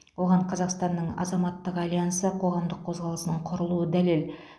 оған қазақстанның азаматтық альянсы қоғамдық қозғалысының құрылуы дәлел